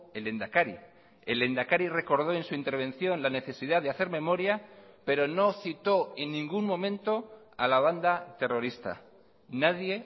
el lehendakari el lehendakari recordó en su intervención la necesidad de hacer memoria pero no citó en ningún momento a la banda terrorista nadie